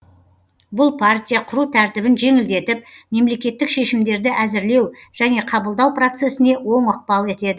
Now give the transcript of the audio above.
бұл партия құру тәртібін жеңілдетіп мемлекеттік шешімдерді әзірлеу және қабылдау процессіне оң ықпал етеді